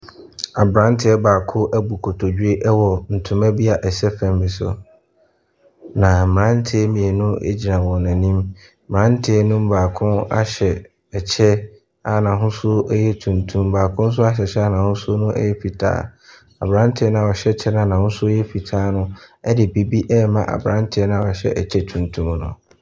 Abranteɛ baako ɛbu nkotodwe ɛwɔ ntoma bia ɛsɛ fam bi so. Na mmranteɛ mmienu gyina wɔn anim. Mmranteɛ no mu baako ahyɛ ɛkyɛ a n'ahosuo ɛyɛ tuntum, baako nso ahyɛ kyɛ a n'ahosuo no ɛyɛ fitaa. Abranteɛ noa ɔhyɛ ɛkyɛ noa n'ahosuo ɛyɛ fitaa no ɛde biribi ɛrema abranteɛ noa ɔhyɛ ɛkyɛ tuntum no.